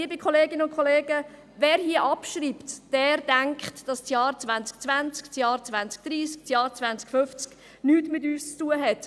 Wer hier abschreibt, denkt, dass das Jahr 2020, das Jahr 2030, das Jahr 2050 nichts mit uns zu tun hat.